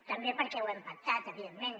també perquè ho hem pactat evidentment